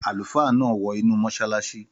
Àlùfáà náà wọ inú mọ́sálásí